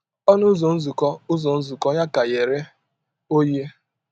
Ọnụ ụzọ nzukọ ụzọ nzukọ ya ka ghere oghe.